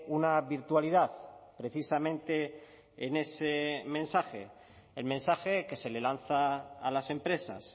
una virtualidad precisamente en ese mensaje el mensaje que se le lanza a las empresas